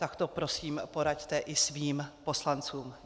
Tak to prosím poraďte i svým poslancům.